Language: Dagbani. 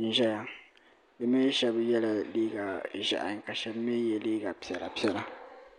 n ziya bi mi shɛba yela liiga zihi ka shɛba mi yiɛ liiga piɛlla piɛlla